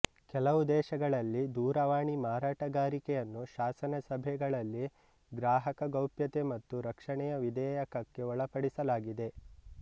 ಕೆಲವು ದೇಶಗಳಲ್ಲಿ ದೂರವಾಣಿ ಮಾರಾಟಗಾರಿಕೆಯನ್ನು ಶಾಸನ ಸಭೆಗಳಲ್ಲಿ ಗ್ರಾಹಕ ಗೌಪ್ಯತೆ ಮತ್ತು ರಕ್ಷಣೆಯ ವಿಧಾಯಕಕ್ಕೆ ಒಳಪಡಿಸಲಾಗಿದೆ